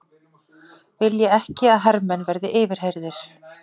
Vilja ekki að hermenn verði yfirheyrðir